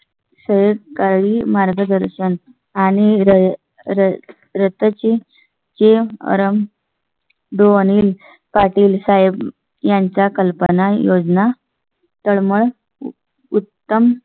Saint काळी मार्गदर्शन आणि रसाची ची आराम. पाटील साहेब यांचा कल्पना योजना. तळमळ उत्तम